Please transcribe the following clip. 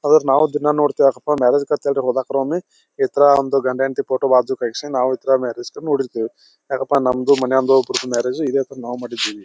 ಆದರೆ ನಾವು ದಿನ ನೋಡ್ತಿವಿ ಯಾಕಪ ಮ್ಯಾರೇಜ್ ಗ ಅಂತ ಹೋದಾಗ ಒಮ್ಮೆ ಇತರ ಗಂಡ ಹೆಂಡ್ತಿ ಫೋಟೋ ಬಾಜು ಇಸ್ಕೊಂಡು ನಾವು ಇತರ ಮ್ಯಾರೇಜ್ ನೋಡಿರ್ತಿವಿ ಯಕ್ಕಪ ನಮ್ದು ಮನೆಯವರದು ಇದೆ ತಾರಾ ಮ್ಯಾರೇಜು ಇದೆ ತರ ಮಾಡಿದಿವಿ.